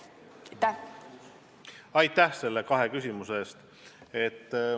Aitäh nende kahe küsimuse eest!